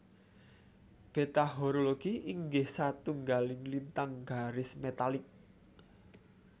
Beta Horologi inggih satunggaling lintang garis metalik